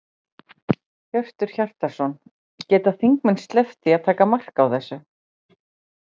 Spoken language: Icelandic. Hjörtur Hjartarson: Geta þingmenn sleppt því að taka mark á þessu?